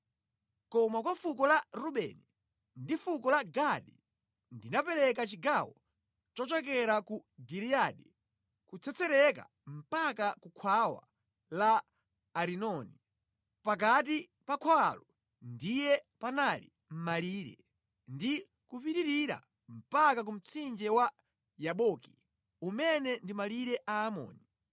Koma kwa fuko la Rubeni ndi fuko la Gadi ndinapereka chigawo chochokera ku Giliyadi kutsetsereka mpaka ku khwawa la Arinoni (pakati pa khwawalo ndiye panali malire) ndi kupitirira mpaka ku mtsinje wa Yaboki umene ndi malire Aamoni.